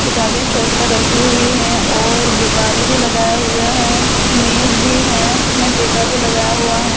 किताबे सेल्‍फ पर रखी हुई है और गुब्‍बारे भी लगाया हुये हैं और मेज भी है उनमें टेका भी लगाया हुआ है ।